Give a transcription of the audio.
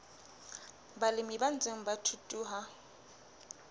balemi ba ntseng ba thuthuha